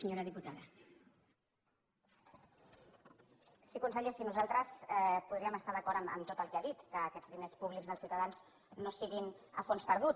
sí conseller si nosaltres podríem estar d’acord en tot el que ha dit que aquests diners públics dels ciutadans no siguin a fons perdut